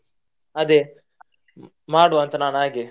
ಅದೇ ಮಾಡುವ ಅಂತ ನಾನ್ ಹಾಗೆ.